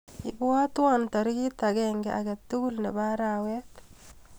Ibwatwa tarik agenge akatukul nebo arawet.